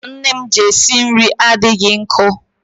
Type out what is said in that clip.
Mma nne m ji esi nri adịghị nkọ.